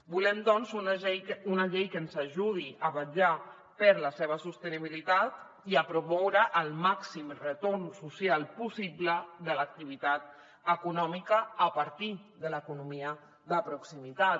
volem doncs una llei que ens ajudi a vetllar per la seva sostenibilitat i a promoure el màxim retorn social possible de l’activitat econòmica a partir de l’economia de proximitat